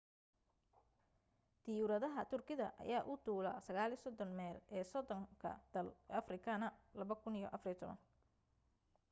diyuuradaha turkida ayaa u duula 39 meel ee 30 dal afrikaana 2014